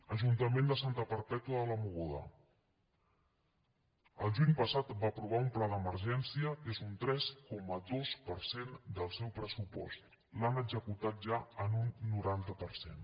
ajuntament de santa perpètua de la mogoda el juny passat va aprovar un pla d’emergència que és un tres coma dos per cent del seu pressupost l’han executat ja en un noranta per cent